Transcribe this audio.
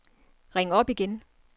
ring op igen